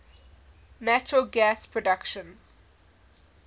natural gas production